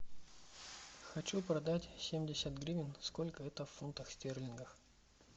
хочу продать семьдесят гривен сколько это в фунтах стерлингах